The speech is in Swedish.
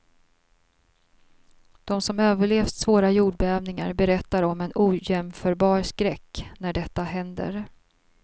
De som överlevt svåra jordbävningar berättar om en ojämförbar skräck när detta händer.